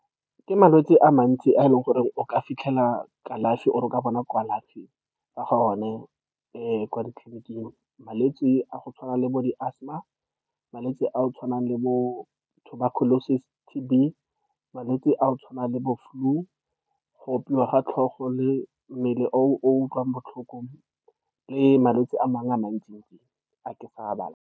Ke malwetse a mantsi a e leng gore o ka fitlhela kalafi, or-e o ka bona kalafi ka ga one kwa ditleliniking, malwetse a go tshwana le bo di-asthma, malwetse a go tshwana le bo-tuberculosis T_B, malwetse a go tshwana le bo-flu, go opiwa ga tlhogo le mmele, o utlwang botlhoko, le malwetse a mangwe a mantsi-ntsi a ke sa a balang.